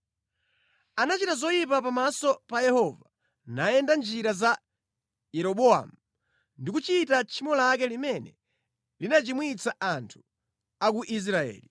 Anachita zoyipa pamaso pa Yehova, nayenda mʼnjira za Yeroboamu ndi kuchita tchimo lake limene linachimwitsa anthu a ku Israeli.